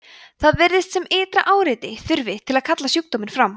það virðist sem ytra áreiti þurfi til að kalla sjúkdóminn fram